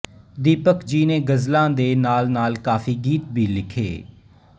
ਦੀਪਕ ਜੀ ਨੇ ਗ਼ਜ਼ਲਾਂ ਦੇ ਨਾਲਨਾਲ ਕਾਫ਼ੀ ਗੀਤ ਵੀ ਲਿਖੇ